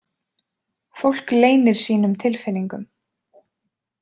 Fólk leynir sínum tilfinningum.